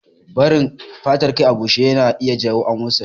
Barin fatar kai a bushe ya na iya jawo amosali